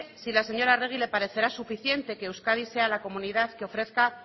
si a la señora arregi le parecerá suficiente que euskadi sea la comunidad que ofrezca